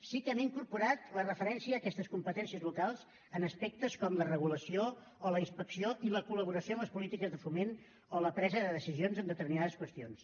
sí que hem incorporat la referència a aquestes competències locals en aspectes com la regulació o la inspecció i la col·laboració en les polítiques de foment o la presa de decisions en determinades qüestions